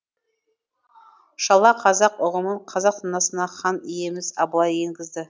шала қазақ ұғымын қазақ санасына хан иеміз абылай енгізді